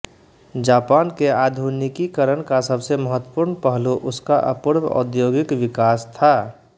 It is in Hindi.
जापान के आधुनिकीकरण का सबसे महत्वपूर्ण पहलू उसका अपूर्व औद्योगिक विकास था